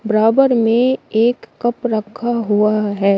बराबर में एक कप रखा हुआ है।